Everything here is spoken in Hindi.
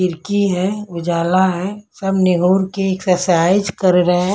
खिरकी है उजाला है सब निहुर के एक्सरसाइज कर रहे --